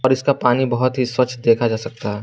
इसका पानी बहुत ही स्वच्छ देखा जा सकता है।